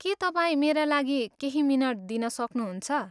के तपाईँ मेरा लागि केही मिनट दिन सक्नुहुन्छ?